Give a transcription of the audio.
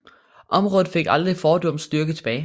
Området fik aldrig fordums styrke tilbage